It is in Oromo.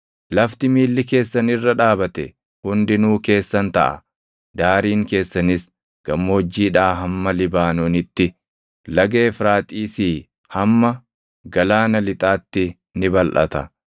Lafti miilli keessan irra dhaabate hundinuu keessan taʼa; daariin keessanis gammoojjiidhaa hamma Libaanoonitti, laga Efraaxiisii hamma galaana lixaatti ni balʼata.